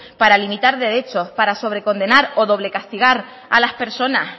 para limitar derechos para sobrecondenar o doble castigar a las personas